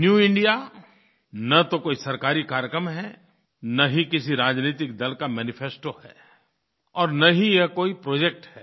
new India न तो कोई सरकारी कार्यक्रम है न ही किसी राजनैतिक दल का मैनिफेस्टो है और न ही ये कोई प्रोजेक्ट है